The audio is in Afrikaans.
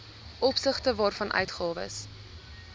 opsigte waarvan uitgawes